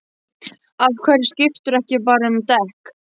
Af hverju skiptirðu ekki bara um dekk?